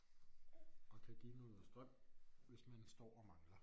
Og kan give noget strøm hvis man står og mangler